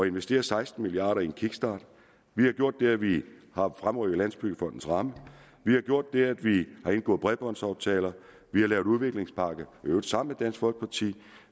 investere seksten milliard kroner i en kickstart vi har gjort det at vi har fremrykket landsbyggefondens ramme vi har gjort det at vi har indgået bredbåndsaftaler vi har lavet udviklingspakken i øvrigt sammen med dansk folkeparti